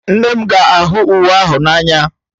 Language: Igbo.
Nne m ga-ahụ uwe ahụ n'anya